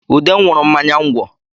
Ude nwụrụ mmanya ngwọ